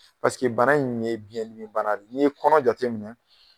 Paseke bana nin ye biɲɛ dimi bana de ye. Ni ye kɔnɔ jateminɛ.